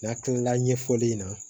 N'a kilala ɲɛfɔli in na